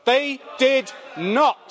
They did not.